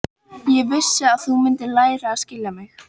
Ég vissi að þú mundir læra að skilja mig.